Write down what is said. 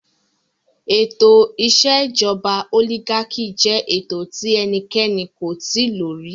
Ètò ìṣèjọba olígákì jẹ ètò tí ẹnikẹ́ni kò tíì lo rí.